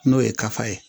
N'o ye kafa ye